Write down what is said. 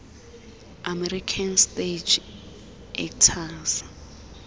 american stage actors